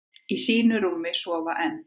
Í sínu rúmi sofa enn,